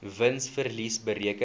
wins verlies bereken